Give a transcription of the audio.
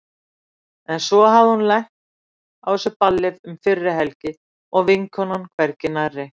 En svo hafði hún lent á þessu balli um fyrri helgi og vinkonan hvergi nærri.